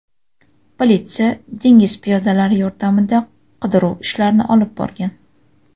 Politsiya dengiz piyodalari yordamida qidiruv ishlarini olib borgan.